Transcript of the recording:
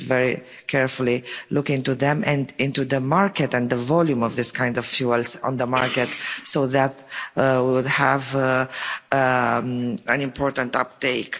We need to very carefully look into them and into the market and the volume of this kind of fuels on the market, so that they could have an important uptake.